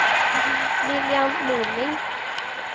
Lilian Norling